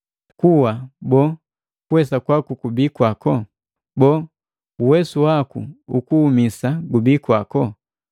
“Kuwa, boo, kuwesa kwaku kubii kwako? Boo, uwesu waku ukuhumisa gubii kwako?”